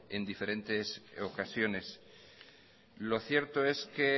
en diferentes ocasiones lo cierto es que